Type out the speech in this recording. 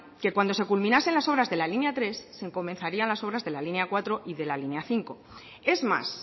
que cuando se culminasen las obras de la línea tres se comenzarían las obras de la línea cuatro y de la línea cinco es más